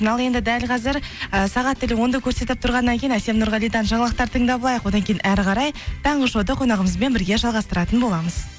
ал енді дәл қазір ы сағат тілі онды көрсетіп тұрғаннан кейін әсем нұрғалидан жаңалықтар тыңдап алайық одан кейін әрі қарай таңғы шоуды қонағымызбен бірге жалғастыратын боламыз